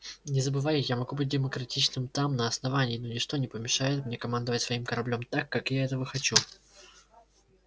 не забывай я могу быть демократичным там на основании но ничто не помешает мне командовать своим кораблём так как я этого хочу